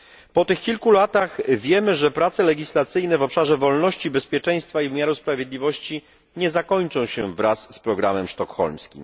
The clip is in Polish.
Po tych kilku latach wiemy, że prace legislacyjne w obszarze wolności, bezpieczeństwa i wymiaru sprawiedliwości nie zakończą się wraz z programem sztokholmskim.